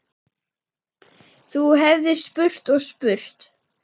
Þú hefðir spurt og spurt.